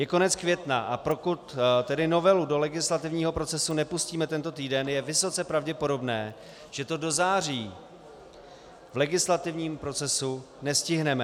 Je konec května, a pokud tedy novelu do legislativního procesu nepustíme tento týden, je vysoce pravděpodobné, že to do září v legislativním procesu nestihneme.